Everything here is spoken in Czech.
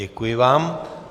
Děkuji vám.